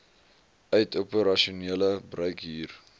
uit operasionele bruikhuur